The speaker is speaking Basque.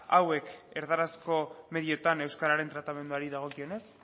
hauek erdarazko medioetan euskararen tratamenduari dagokionez